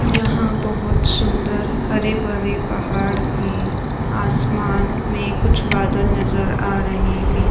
यहाँं बहुत सुंदर हरी भरे पहाड़ हैं। आसमान में कुछ बदले नजर आ रहे हैं।